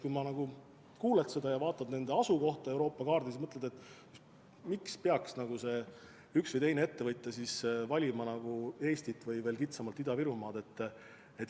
Kui kuuled seda ja vaatad nende asukohta Euroopa kaardil, siis mõtled, miks peaks üks või teine ettevõtja valima Eesti või veel kitsamalt Ida-Virumaa.